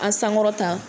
An sankɔrɔta